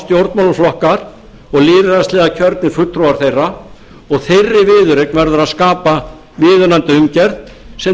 stjórnmálaflokkar og lýðræðislega kjörnir fulltrúar þeirra og þeirri viðureign verður að skapa viðunandi umgjörð sem